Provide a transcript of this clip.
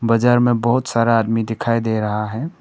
बाजार में बहुत सारा आदमी दिखाई दे रहा है।